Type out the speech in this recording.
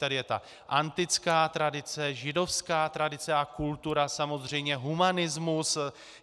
Tady je ta antická tradice, židovská tradice a kultura, samozřejmě humanismus.